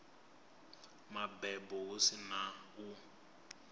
mabebo hu si na u